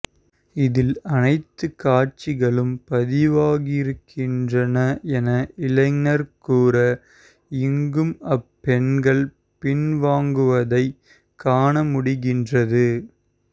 இதில் அனைத்து காட்சிகளும் பதிவாகியிருக்கின்றன என இளைஞர் கூற இங்கும் அப்பெண்கள் பின்வாங்குவதைக் காண முடிகின்றது